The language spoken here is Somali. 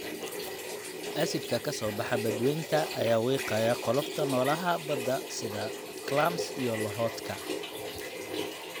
Acid-ka-soo-baxa badweynta ayaa wiiqaya qolofta noolaha badda sida clams iyo lohodka.